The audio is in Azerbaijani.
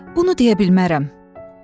Bunu deyə bilmərəm.